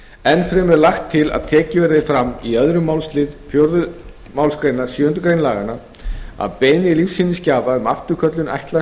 enn fremur er lagt til að tekið verði fram í öðrum málslið fjórðu málsgrein sjöundu grein laganna að beiðni lífsýnisgjafa um afturköllun ætlaðs